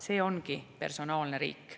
See ongi personaalne riik.